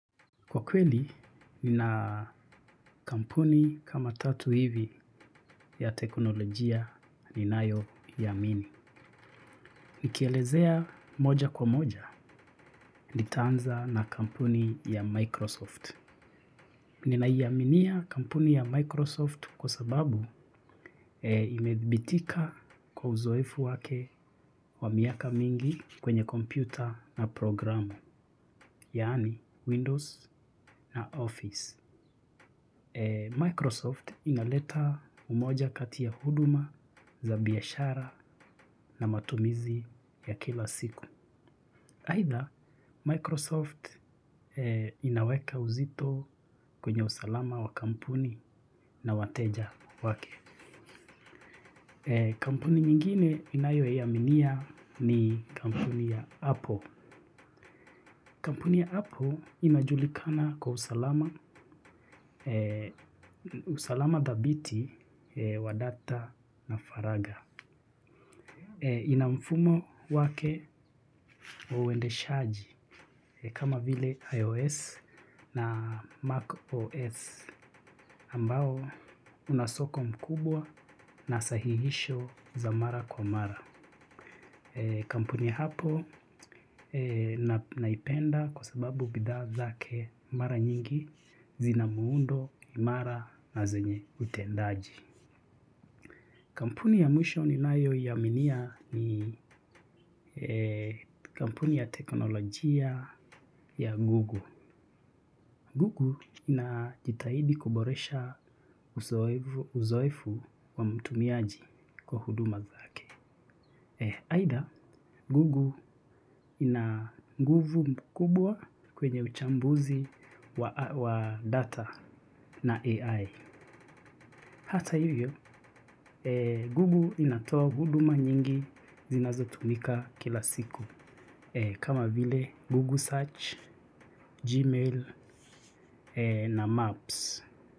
Kwa kweli, nina kampuni kama tatu hivi ya teknolojia ninayo amini. Nikielezea moja kwa moja, nitaanza na kampuni ya Microsoft. Ninaiaminia kampuni ya Microsoft kwa sababu imedhibitika kwa uzoefu wake wa miaka mingi kwenye kompyuta na programu, yaani Windows na Office. Microsoft inaleta umoja kati ya huduma za biashara na matumizi ya kila siku. Aidha Microsoft inaweka uzito kwenye usalama wa kampuni na wateja wake. Kampuni nyingine ninayoiaminia ni kampuni ya Apple. Kampuni ya apple inajulikana kwa usalama dhabiti wa data na faragha. Ina mfumo wake wa uendeshaji kama vile iOS na macOS ambao unasoko mkubwa na sahihisho za mara kwa mara. Kampuni ya apple naipenda kwa sababu bidhaa zake mara nyingi zina muundo, imara na zenye utendaji. Kampuni ya mwisho ninayo iaminia ni kampuni ya teknolojia ya google. Google inajitahidi kuboresha uzoefu wa mtumiaji kwa huduma zake. Aidha, google ina nguvu mkubwa kwenye uchambuzi wa data na AI. Hata hivyo, google inatoa huduma nyingi zinazo tumika kila siku. Kama vile, google search, gmail na maps.